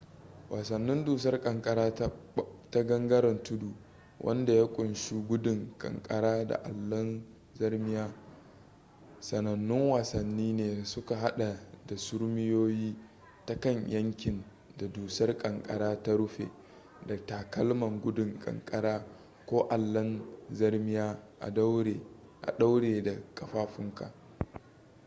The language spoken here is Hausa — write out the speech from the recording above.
wasannin dusar kankara na gangaren tudu wanda ya kunshi gudun ƙanƙara da allon zarmiya sanannun wasanni ne da suka hada da surmiyowa ta kan yankin da dusar ƙanƙara ta rufe da takalman gudun ƙanƙara ko allon zarmiya a ɗaure da kafafunka